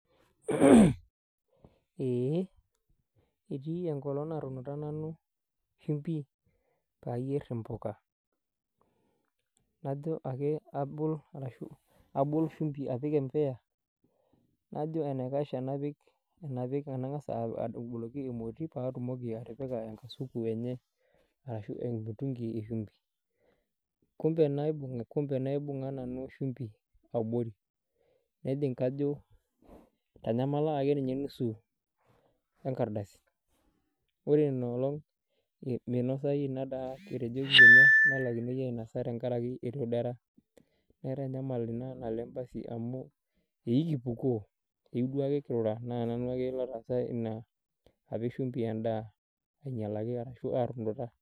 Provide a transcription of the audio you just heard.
Eeh etii enkolong natunuta nanu shimbi payierr impuka najo ake abol arashu abol shumbi apik empuya najo enaikash enapik anang'as adoboloki emoti paatumoki atipika enkasuku enye arashu emutungi eshumbi kumbe naibung kumbe naibung'a nanu shumbi abori nejing kajo itanyamala ake ninye nusu enkardasi ore ina olong eh minosai ina daa etejoki kinya nelaikinoi ainasa tenkarake etoduara naitanyamal ina naleng basi amu eiu kipukoo eiu duake kirura naa nanu ake lotaasa ina apik shumbi endaa ainyialaki arashu atunuta.